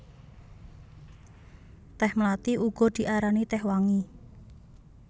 Tèh mlathi uga diarani tèh wangi